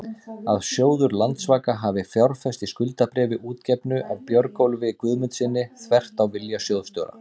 að sjóður Landsvaka hafi fjárfest í skuldabréfi útgefnu af Björgólfi Guðmundssyni, þvert á vilja sjóðsstjóra?